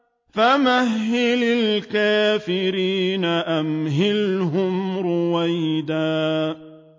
فَمَهِّلِ الْكَافِرِينَ أَمْهِلْهُمْ رُوَيْدًا